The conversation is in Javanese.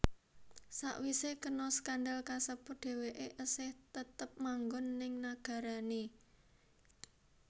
Sawisé kena skandal kasebut dheweké esih tetep manggon ning nagarané